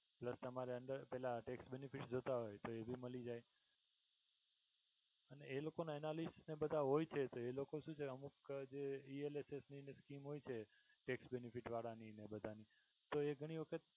તમારા under પેહલા tax benefit જોઈતા હોય તો એ ભી મળી જાય એ લોકો ના analysit બધા હોય છે તો એ લોકો શું છે અમુક જે ELSS ની જે scheme હોય છે tax benefit વાળા ની અને એ બધા ની તો એ ઘણી વખત